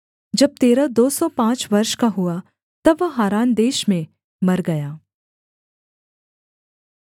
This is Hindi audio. जब तेरह दो सौ पाँच वर्ष का हुआ तब वह हारान देश में मर गया